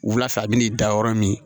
Wula fɛ a bɛna dan yɔrɔ min